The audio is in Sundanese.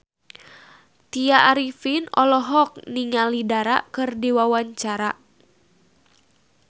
Tya Arifin olohok ningali Dara keur diwawancara